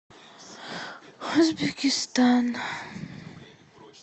узбекистан